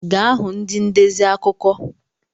Ga hụ ndị ndezi akụkọ!